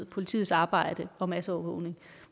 politiets arbejde og masseovervågning